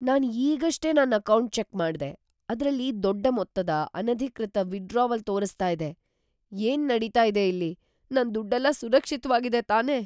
ನಾನ್‌ ಈಗಷ್ಟೇ ನನ್ account check ಮಾಡ್ದೆ..‌ ಅದ್ರಲ್ಲಿ ದೊಡ್ಡ ಮೊತ್ತದ, ಅನಧಿಕೃತ ವಿದ್‌ಡ್ರಾವಲ್ ತೋರಿಸ್ತಾ ಇದೆ. ಏನ್‌ ನಡೀತಾ ಇದೆ ಇಲ್ಲಿ? ನನ್ ದುಡ್ಡೆಲ್ಲ ಸುರಕ್ಷಿತ್ವಾಗಿದೆ ತಾನೇ?